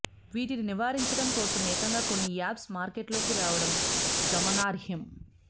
వీటిని నివారించడం కోసం ఏకంగా కొన్ని యాప్స్ మార్కెట్లోకి రావడం గమనార్హం